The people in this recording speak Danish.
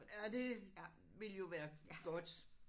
Ja det ville jo være godt